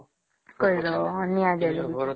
କରିଦବା ନିଅ ଟିକେ ଜାଳିଦେବା